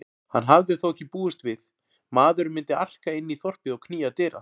Hann hafði þó ekki búist við maðurinn myndi arka inn í þorpið og knýja dyra.